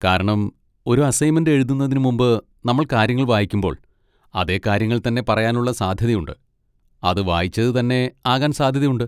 കാരണം, ഒരു അസൈൻമെന്റ് എഴുതുന്നതിന് മുമ്പ് നമ്മൾ കാര്യങ്ങൾ വായിക്കുമ്പോൾ, അതേ കാര്യങ്ങൾ തന്നെ പറയാനുള്ള സാധ്യതയുണ്ട്, അത് വായിച്ചത് തന്നെ ആകാൻ സാധ്യതയുണ്ട്.